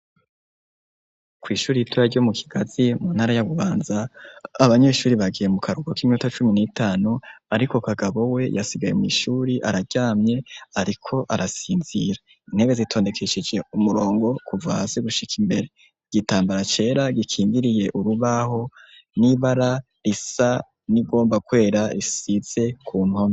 Kwishure ritoya ryo mukigazi mu ntara ya bubanza ,abanyeshure bagiye mukaruhuko kiminota cumi ni tanu ariko kagabo we yasigaye mwishure araryamye ariko arasinzira ,intebe zitondekesheje umurongo kuva hasi gushika imbere igitambara cera gikingiriye urubaho n’ibara risa nirigomba kwera risize kumpome.